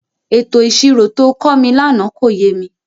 Ètò ìṣirò to kọ́ mi lánàá kò yé mi.